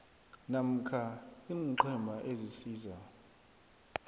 namkha iinqhema ezisiza